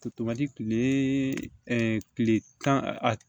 kile ɛɛ kile tan a